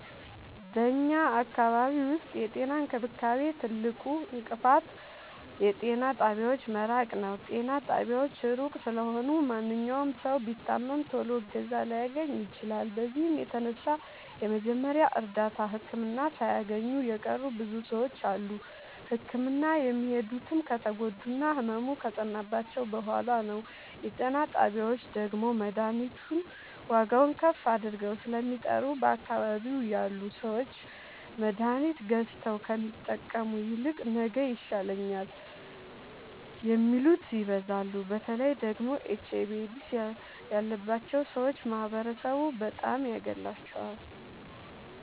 በኛ አካባቢ ዉስጥ የጤና እንክብካቤ ትልቁ እንቅፋት የጤና ጣቢያዎች መራቅ ነዉ። ጤና ጣቢያዎች እሩቅ ስለሆኑ ማንኛዉም ሠዉ ቢታመም ቶሎ እገዛ ላያገኝ ይችላል። በዚህም የተነሣ የመጀመሪያ እርዳታ ህክምና ሣያገኙ የቀሩ ብዙ ሰዎች አሉ። ህክምና የሚሄዱትም ከተጎዱና ህመሙ ከፀናባቸዉ በሗላ ነዉ። የጤና ጣቢያዎች ደግሞ መድሀኒቱን ዋጋዉን ከፍ አድርገዉ ስለሚጠሩ በአካባቢዉ ያሉ ሠዎች መድሀኒት ገዝተዉ ከሚጠቀሙ ይልቅ ነገ ይሻለኛል የሚሉት ይበዛሉ። በተለይ ደግሞ ኤች አይቪ ኤድስ ያባቸዉ ሠዎች ማህበረሡ በጣም ያገላቸዋል።